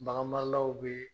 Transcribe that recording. Bagan maralaw bɛ